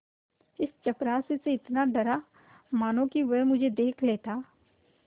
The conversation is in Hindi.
इस चपरासी से इतना डरा मानो कि वह मुझे देख लेता